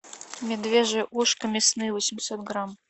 медвежье ушко мясные восемьсот грамм